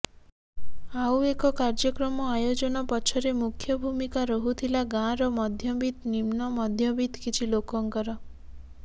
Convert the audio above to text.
ଆଉ ଏ କାର୍ଯ୍ୟକ୍ରମ ଆୟୋଜନ ପଛରେ ମୁଖ୍ୟ ଭୂମିକା ରହୁଥିଲା ଗାଁର ମଧ୍ୟବିତ୍ତ ନିମ୍ନ ମଧ୍ୟବିତ୍ତ କିଛି ଲୋକଙ୍କର